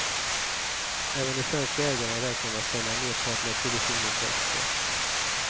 Även de svenska ägarna räknar med att sälja merparten av produktionen på export.